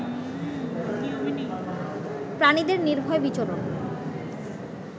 প্রাণীদের নির্ভয় বিচরণ